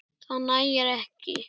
Það nægir ekki.